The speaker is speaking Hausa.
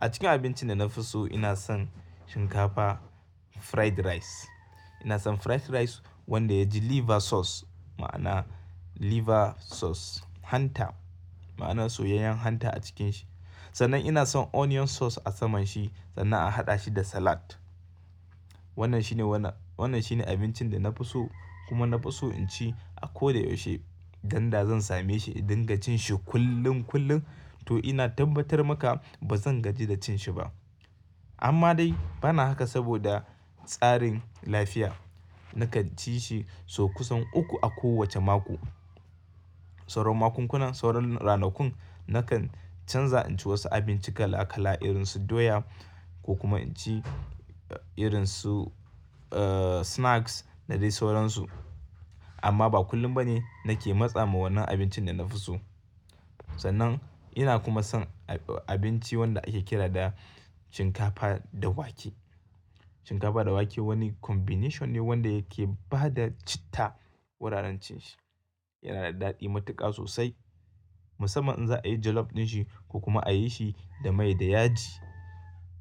A cikin abincin da na fi so ina son shinkafa fried rice. Ina son fried rice wanda yaji liver sauce ma'ana liver sauce hanta ma'ana soyayyen hanta a cikin shi. Sannan ina son onion sauce a saman shi sannan a haɗa shi da salad. Wannan shine wanan, wannan shine abincin da na fi so kuma na fi so in ci a ko da yaushe. Ganda zan same shi in dinga cin shi kullum kullum to ina tabbatar maka ba zan gaji da cin shi ba. Amma dai bana haka saboda tsarin lafiya. Nakan ci shi sau kusan uku a kowace mako. Sauran makunkunan, sauran ranakun nakan canza in ci wasu abinci kala kala irin su doya ko kuma in ci irin su eh snacks da dai sauransu. Amma ba kullum ba ne nake matsa ma wannan abincin da na fi so. Sannan ina kuma son abinci wanda ake kira da shinkafa da wake. Shinkafa da wake wani combination ne wanda yake bada citta wuraren cin shi. Yana da daɗi matuƙa sosai musamman in za a yi jollof din shi ko kuma a yi shi da mai da yaji.